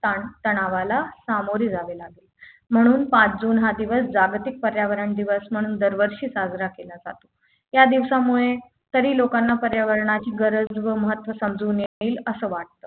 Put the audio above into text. ताण तणावाला सामोरे जावे लागेल म्हणून पाच जून हा दिवस जागतिक पर्यावरण दिवस म्हणून दरवर्षी साजरा केला जातो या दिवसामुळे तरी लोकांना पर्यावरणाची गरज व महत्त्व समजून येईल असं वाटतं